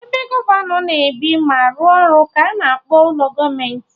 Ebe gọvanọ na ebi ma arụ ọrụ ka ana akpọ ụlọ gọọmenti